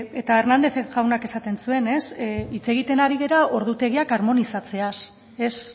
eta hernández jaunak esaten zuen hitz egiten ari gara ordutegiak armonizatzeaz ez